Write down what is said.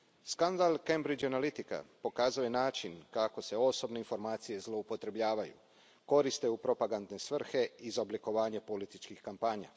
Skandal Cambridge Analitica pokazao je način kako se osobne informacije zloupotrebljavaju, koriste u propagandne svrhe i za oblikovanje političkih kampanja.